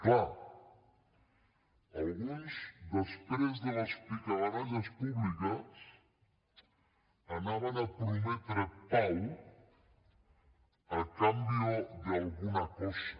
clar alguns després de les picabaralles públiques anaven a prometre pau a cambio de alguna cosa